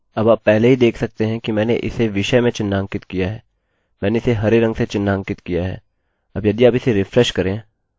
अब आप पहले ही देख सकते हैं कि मैंने इसे विषय में चिन्हांकित किया है मैंने इसे हरे रंग से चिन्हांकित किया है